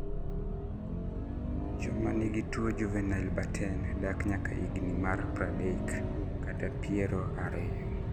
Jomangi tuo juvenile Batten dak nyaka higni mar pradek kata piero ariyo